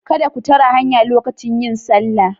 Kada ku tare hanya lokacin yin sallah